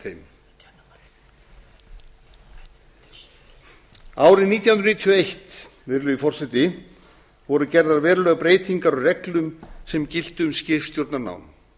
þeim árið nítján hundruð níutíu og eitt virðulegi forseti voru gerðar verulegar breytingar á reglum sem giltu um skipstjórnarnám